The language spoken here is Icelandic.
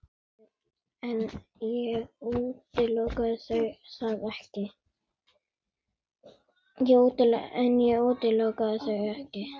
En ég útiloka það ekki.